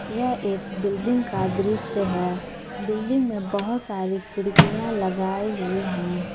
यह एक बिल्डिंग का दृश्य है बिल्डिंग में बहोत सारी खिड़कियां लगाई हुई हैं।